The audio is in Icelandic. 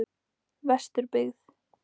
Vesturbyggð